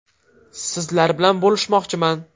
Sizlar bilan bo‘lishmoqchiman.